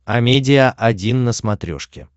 амедиа один на смотрешке